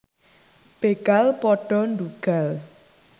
Begal pada ndhugal